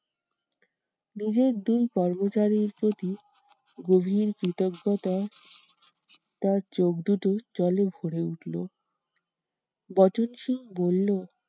নিজের দুই কর্মচারীর প্রতি গভীর কৃতজ্ঞতায় তার চোখদুটো জলে ভোরে উঠলো। বচনসুর বললো